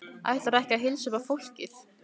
Ætlarðu ekki að heilsa upp á fólkið?